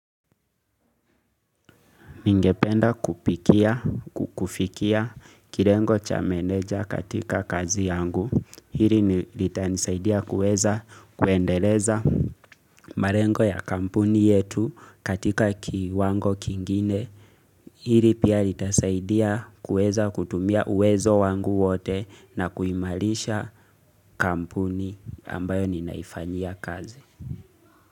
Ningependa kupikia, kukufikia, kirengo cha meneja katika kazi yangu. Hili ni litanisaidia kuweza kuendeleza. Marengo ya kampuni yetu katika kiwango kingine. Hili pia litasaidia kuweza kutumia uwezo wangu wote na kuimalisha kampuni ambayo ninaifanyia kazi.